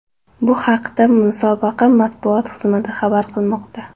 Bu haqda musobaqa matbuot xizmati xabar qilmoqda .